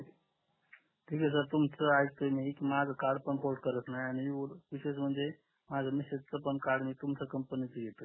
ठीक आहे सर तुमच ऐकतोय मी माझ कार्ड पण पोर्ट करत नाही विशेष म्हणजे माझ्या मिसेस च पण कार्ड तुमच्या कंपनी घेऊन येतोय